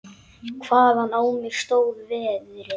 Hvaðan á mig stóð veðrið.